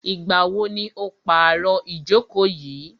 Ìgbà wo ni o pàro ìjókò yìí?